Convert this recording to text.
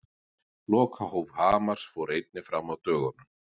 Lokahóf Hamars fór einnig fram á dögunum.